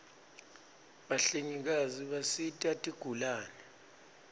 bahlengikati bisita tigulane